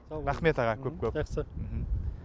рахмет аға көп көп жақсы мхм